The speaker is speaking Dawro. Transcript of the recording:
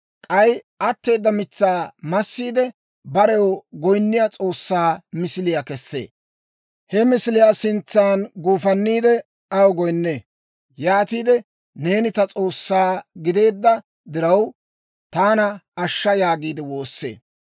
K'ay atteeda mitsaa massiide, barew goyinniyaa s'oossaa misiliyaa kessee. He misiliyaa sintsan guufanniide, aw goyinnee; yaatiide, «Neeni ta s'oossaa gideedda diraw, taana ashsha» yaagiide woossee.